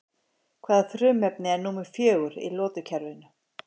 Hvaða frumefni er númer fjögur í lotukerfinu?